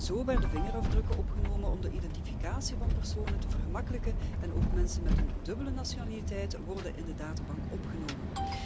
Zo werden vingerafdrukken in het voorstel opgenomen om de identificatie van personen te vergemakkelijken en ook mensen met een dubbele nationaliteit worden in de databank opgenomen.